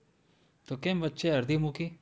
તો કેમ વચ્ચે અડધી મૂકી?